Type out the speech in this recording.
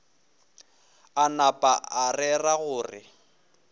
a napa a rera gore